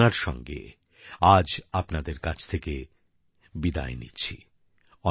এই কামনার সঙ্গে আজ আপনাদের কাছ থেকে বিদায় নিচ্ছি